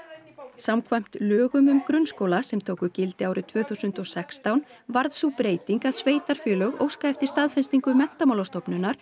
samkvæmt lögum um grunnskóla sem tóku gildi árið tvö þúsund og sextán varð sú breyting að sveitarfélög óska eftir staðfestingu Menntamálastofnunar